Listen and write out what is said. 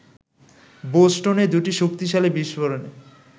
বোস্টনে দুটি শক্তিশালী বিস্ফোরণে